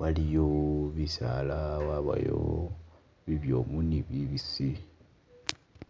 waliyo bisaala wabayo nibyobu ni bibisile.